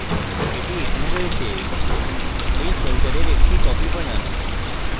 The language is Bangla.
এটি এখানে রয়েছে এই folder একটি copy বানান